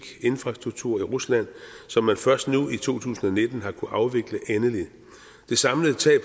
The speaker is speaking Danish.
infrastruktur i rusland som man først nu i to tusind og nitten har kunnet afvikle endeligt det samlede tab